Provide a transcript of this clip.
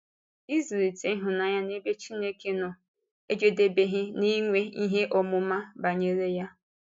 Ịzùlite ịhụnanya n’ebe Chineke nọ ejedebeghị n’inwe ihe ọmụma banyere ya.